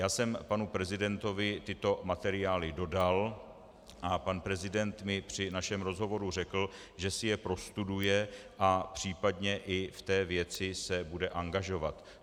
Já jsem panu prezidentovi tyto materiály dodal a pan prezident mi při našem rozhovoru řekl, že si je prostuduje a případně i v té věci se bude angažovat.